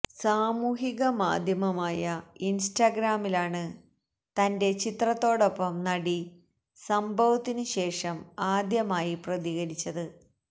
സാമൂഹിക മാധ്യമമായ ഇന്സ്റ്റഗ്രാമിലാണ് തന്െറ ചിത്രത്തോടൊപ്പം നടി സംഭവത്തിനുശേഷം ആദ്യമായി പ്രതികരിച്ചത്